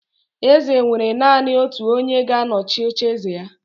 Eze nwere naanị otu onye ga-anọchi ocheeze ya